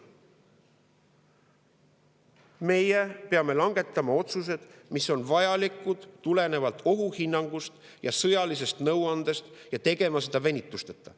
Meie peame langetama otsused, mis on vajalikud tulenevalt ohuhinnangust ja sõjalisest nõuandest, ja tegema seda venitusteta.